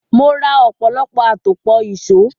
Mo ra ọ̀pọ̀lọpọ̀ àtòpọ̀ ìṣó.